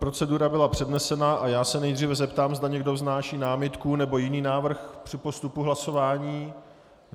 Procedura byla přednesena a já se nejdříve zeptám, zda někdo vznáší námitku nebo jiný návrh při postupu hlasování.